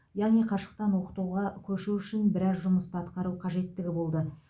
яғни қашықтан оқытуға көшу үшін біраз жұмысты атқару қажеттігі болды